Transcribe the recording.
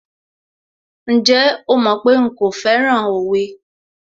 Ǹjẹ́ o mọ̀ pé nkò fẹ́ràn òwe?